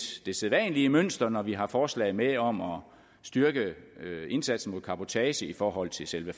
det sædvanlige mønster når vi har forslag med om at styrke indsatsen mod cabotage i forhold til selve